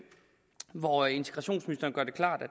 hvor integrationsministeren gør det klart at